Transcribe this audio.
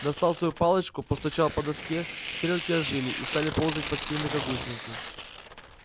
достал свою палочку постучал по доске стрелки ожили и стали ползать по схеме как гусеницы